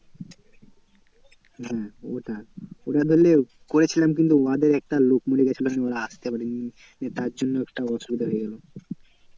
হম ওটাই ওটা ধরলে করেছিলাম কিন্তু উহাদের একটা লোক মরে গেছিলো সেইজন্য ওরা আসতে পারে নি। তার জন্য একটু অসুবিধা হয়ে গেছিলো।